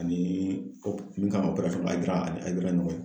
Ani min kan ka Hayidara , ani Hayidara in ɲɔgɔn ye.